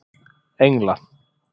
Engla